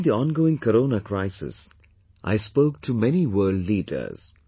during the ongoing Corona crisis, I spoke to mnay world leaders